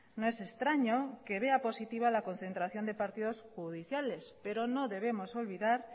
no es extraño que vea positiva la concentración de partidos judiciales pero no debemos olvidar